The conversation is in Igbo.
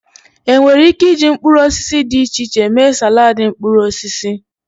Enwere Ike iji mkpuruosisi di iche iche mee salaadi mkpuruosisi.